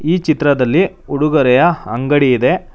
ಈ ಚಿತ್ರದಲ್ಲಿ ಉಡುಗೊರೆಯ ಅಂಗಡಿ ಇದೆ.